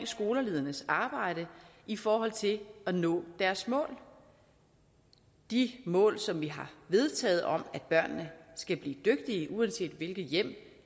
skoleledernes arbejde i forhold til at nå deres mål de mål som vi har vedtaget om at børnene skal blive dygtige uanset hvilket hjem